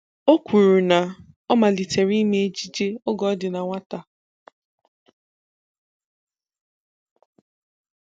O kwuru na ọ malitere ime ejije oge ọ dị na nwata